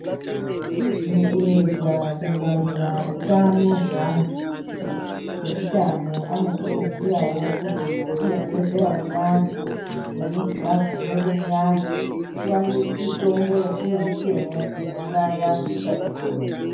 Mukuedza kungwarira utano hweantu. Eutano anokurudzirawo kuti mwatinogezera muyani, ngemuzvilavha mwedu muyani tiwane mitombo yatinoisemwo kuuraya utachiona.